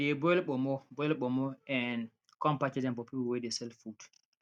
we dey boil ponmo boil ponmo um come package am for people wey de sell food